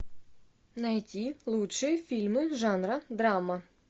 найти лучшие фильмы жанра драма